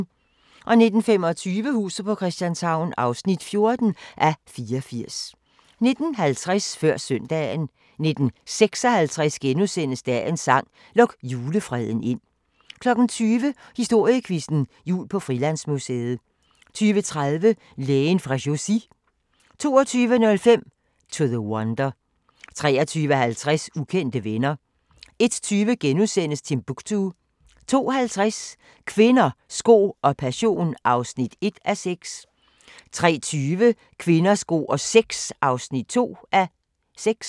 19:25: Huset på Christianshavn (14:84) 19:50: Før Søndagen 19:56: Dagens sang: Luk julefreden ind * 20:00: Historiequizzen: Jul på Frilandsmuseet 20:30: Lægen fra Chaussy 22:05: To the Wonder 23:50: Ukendte venner 01:20: Timbuktu * 02:50: Kvinder, sko og passion (1:6) 03:20: Kvinder, sko og sex (2:6)